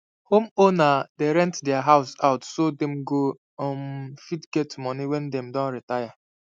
home owner dey rent there house out so them go um fit get money wen them doh retire